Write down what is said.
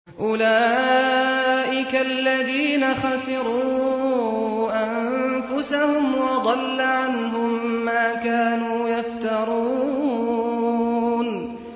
أُولَٰئِكَ الَّذِينَ خَسِرُوا أَنفُسَهُمْ وَضَلَّ عَنْهُم مَّا كَانُوا يَفْتَرُونَ